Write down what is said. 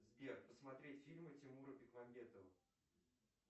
сбер посмотреть фильмы тимура бекмамбетова